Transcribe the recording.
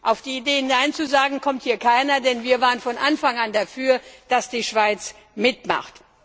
Auf die Idee, Nein zu sagen, kommt hier keiner, denn wir waren von Anfang an dafür, dass die Schweiz mitmacht.